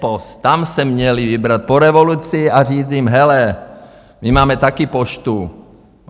Bpost, tam se měli vybrat po revoluci a říct jim: Hele, my máme také Poštu.